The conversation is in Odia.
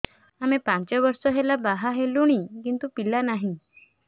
ଆମେ ପାଞ୍ଚ ବର୍ଷ ହେଲା ବାହା ହେଲୁଣି କିନ୍ତୁ ପିଲା ନାହିଁ